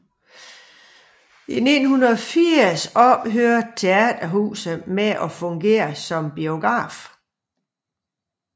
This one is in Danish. I 1980 ophørte teaterhuset med at fungere som biograf